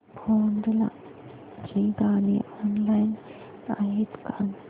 भोंडला ची गाणी ऑनलाइन आहेत का